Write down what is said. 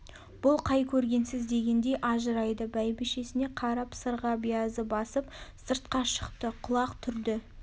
бүл қай көргенсіз дегендей ажырайды бәйбішесіне қарап сырға биязы басып сыртқа шықты құлақ түрді